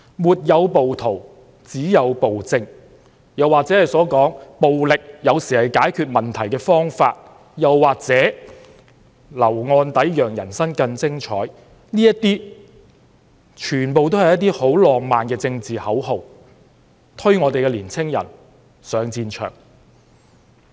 "沒有暴徒，只有暴政"，"暴力有時候是解決問題的方法"，"留案底讓人生更精彩"，這些全都是一些很浪漫的政治口號，推年青人上戰場。